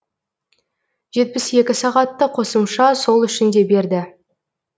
жетпіс екі сағатты қосымша сол үшін де берді